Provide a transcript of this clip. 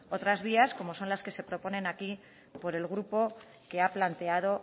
otras vías como son las que se proponen aquí por el grupo que ha planteado